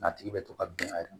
N'a tigi bɛ to ka bin a yɛrɛ ma